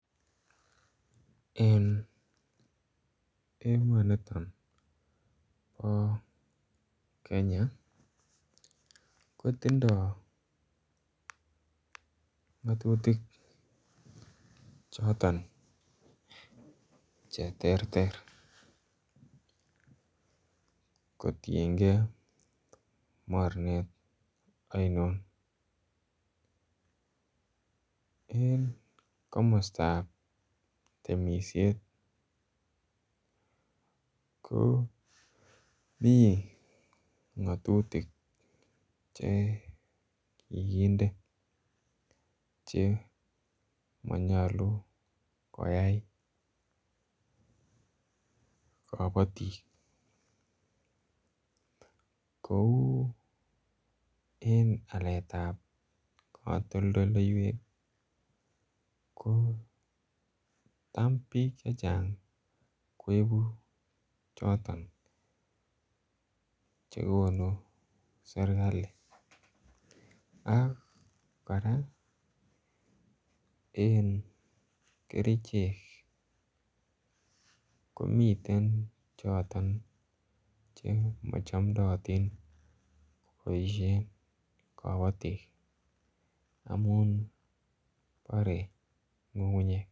En emoni bo Kenya kotindoi ngatutik choton Che terter kotienge mornet ainon en komostab temisiet komi ngatutik Che kikinde Che manyolu koyai kabatik kou en aletab katoldoywek ko tam bik Che Chang koibu choton chekonu serkali ak kora en kerichek komiten Che machamdaatin koboisien kabatik amun borei ngungunyek